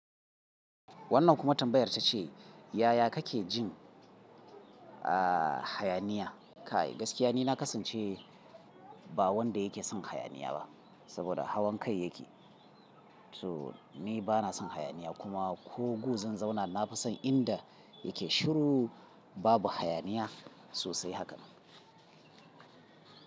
Wannan kuma tambayar ta ce, yaya kake jin, aah hayaniya? Kai gaskiya ni na kasance ba wanda yake son hayaniya ba saboda hawan kai yake. So ni bana son hayaniya kuma ko gu zan zauna na fi son inda yake shiru babu hayaniya sosai haka.